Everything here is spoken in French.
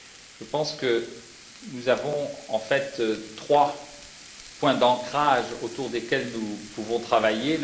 Je pense que nous avons en fait trois points d'ancrage autour desquels nous pouvons travailler.